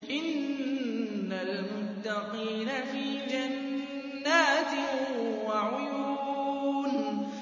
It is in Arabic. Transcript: إِنَّ الْمُتَّقِينَ فِي جَنَّاتٍ وَعُيُونٍ